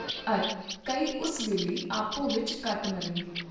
ਅਰ ਕਈ ਉਸ ਵੇਲੇ ਆਪੋ ਵਿਚ ਕੱਟ ਮਰਨਗੇ।